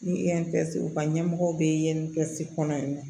Ni u ka ɲɛmɔgɔ be kɔnɔ yan nɔ